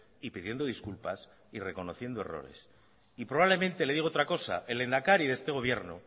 y pidiendo disculpas y reconociendo errores y probablemente le digo otra cosa el lehendakari de este gobierno